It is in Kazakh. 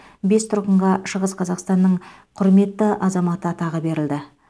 бес тұрғынға шығыс қазақстанның құрметті азаматы атағы берілді